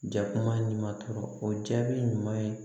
Ja kuma ɲuman tɔrɔ o jaabi ɲuman ye